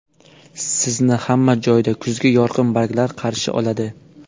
Sizni hamma joyda kuzgi yorqin barglar qarshi oladi.